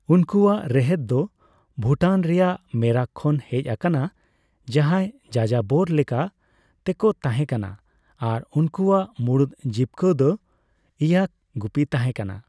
ᱩᱱᱠᱩᱣᱟᱜ ᱨᱮᱦᱮᱫ ᱫᱚ ᱵᱷᱩᱴᱟᱱ ᱨᱮᱭᱟᱜ ᱢᱮᱨᱟᱠ ᱠᱷᱚᱱ ᱦᱮᱡ ᱟᱠᱟᱱᱟ, ᱡᱟᱦᱟᱸᱭ ᱡᱟᱡᱟᱵᱚᱨ ᱞᱮᱠᱟ ᱛᱮᱠᱚ ᱛᱟᱦᱮᱸ ᱠᱟᱱᱟ ᱟᱨ ᱩᱱᱠᱩᱣᱟᱜ ᱢᱩᱬᱩᱫ ᱡᱤᱵᱽᱠᱟᱹ ᱫᱚ ᱤᱭᱟᱠ ᱜᱩᱯᱤ ᱛᱟᱦᱮᱸᱠᱟᱱᱟ ᱾